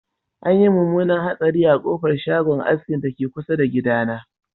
Anyi munmunan hatsari a kofar shagon askin dake kusa da gidana